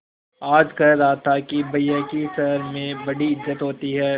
आज कह रहा था कि भैया की शहर में बड़ी इज्जत होती हैं